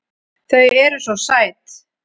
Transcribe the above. Þau eru SVO SÆT!